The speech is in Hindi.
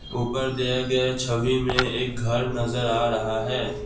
ऊपर दिया गया छवि में एक घर नजर आ रहा है।